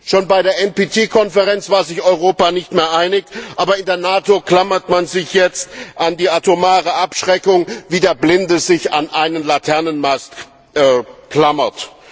Schon bei der NPT Konferenz war sich Europa nicht mehr einig, aber in der NATO klammert man sich jetzt an die atomare Abschreckung, wie der Blinde sich an einen Laternenmast klammert.